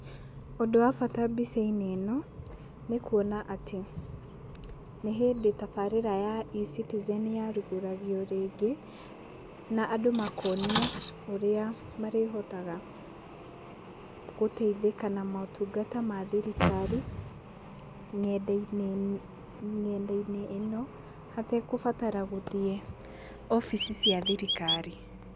Ũndũ wa bata mbica-inĩ ĩno nĩ kuona atĩ, nĩ hĩndĩ tabarĩra ya eCitizen yarugũragio rĩngĩ, na andũ makonio ũrĩa marĩhotaga gũteithĩka na motungata ma thirikari, ng'enda-inĩ, ng'enda-inĩ ĩno, hategũbatara gũthiĩ obici cia thirikari.